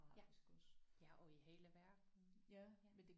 Ja ja og i hele verden ja